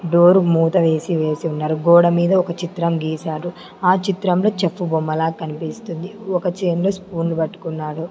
Door మూత వేసి వేసి ఉన్నారు గోడ మీద ఒక చిత్రం గీశారు ఆ చిత్రంలో చెఫ్ బొమ్మలా కనిపిస్తుంది ఒక చేన్ లో స్పూన్ పట్టుకన్నాడు.